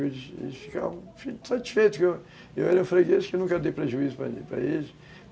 Eles ficavam satisfeitos que eu era um freguês, que nunca dei prejuízo para para eles.